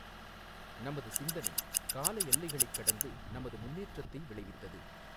நமது சிந்தனை கால எல்லைகளைக் கடந்து நமது முன்னேற்றத்தை விளைவித்தது.